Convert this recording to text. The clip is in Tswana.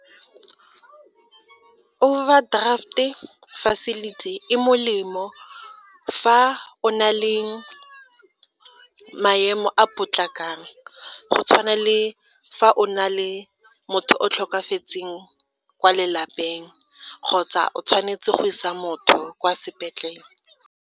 Overdraft-e facility e molemo fa o na le maemo a potlakang, go tshwana le fa o na le motho o tlhokafetseng kwa lelapeng kgotsa o tshwanetse go isa motho kwa sepetlele.